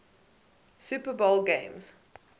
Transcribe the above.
super bowl games